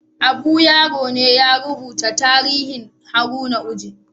Abu Yaro ne ya rubuta tarihin Haruna Oji